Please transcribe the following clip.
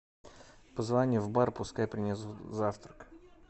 позвони в бар пускай принесут завтрак